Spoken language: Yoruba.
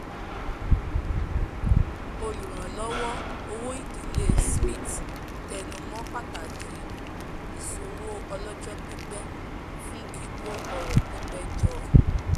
olùránlọ́wọ́ owó ìdílé smith tẹnumọ́ pàtàkì ìsòwò ọlọ́jọ́ pípẹ́ fún kíkó ọrọ̀ pípẹ́ jọ